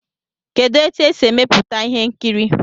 Kedụ etu e si emepụta ihe nkiri?